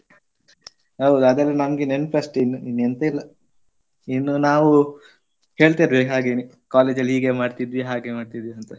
ಹೌದು ಅದೆಲ್ಲ ನಮ್ಗೆ ನೆನ್ಪಷ್ಟೆ ಇನ್ನು ಇನ್ನು ಎಂತ ಇಲ್ಲ. ಇನ್ನು ನಾವು ಹೇಳ್ತಿರ್ಬೇಕು ಹಾಗೆನೇ college ಅಲ್ಲಿ ಹೀಗೆ ಮಾಡ್ತಿದ್ವಿ ಹಾಗೆ ಮಾಡ್ತಿದ್ವಿ ಅಂತ.